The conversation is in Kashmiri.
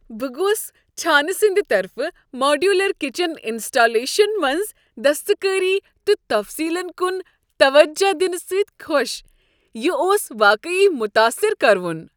بہٕ گوس چھانہٕ سٕندِ طرفہٕ ماڈیولر کچن انسٹالیشن منٛز دستکٲری تہٕ تفصیلن کن توجہ دنہٕ سۭتۍ خوش۔ یہ اوس واقعی متٲثر کروُن۔